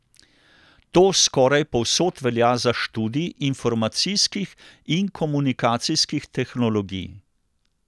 To skoraj povsod velja za študij informacijskih in komunikacijskih tehnologij.